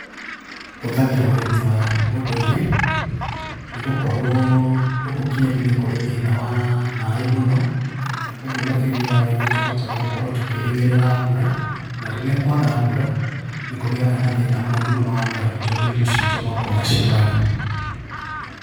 Hũthagĩra ũrĩmi wa ũndũire nĩgũkorwo gũkũ Kieni nĩ kũrĩ thĩna wa maĩ mũno ũguo makĩria nĩ tũhotaga gũkorwo tũkĩrĩgĩrĩa mbura na rĩrĩa kwaga mbura nĩ kũgĩaga na thĩna mũnene mũno wa ng'aragu tondũ irio ciitũ no kũũra ciũraga.